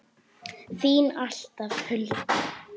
Þín alltaf, Hulda.